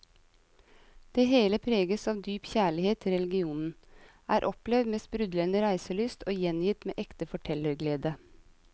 Det hele preges av dyp kjærlighet til regionen, er opplevd med sprudlende reiselyst og gjengitt med ekte fortellerglede.